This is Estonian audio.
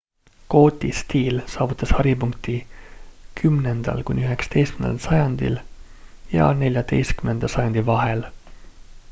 gooti stiil saavutas haripunkti 10.–11. sajandi ja 14. sajandi vahel